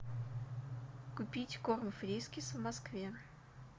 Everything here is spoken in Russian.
купить корм фрискес в москве